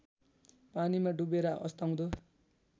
पानीमा डुवेर अस्ताउँदो